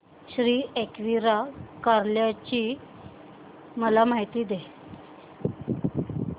श्री एकविरा कार्ला ची मला माहिती दे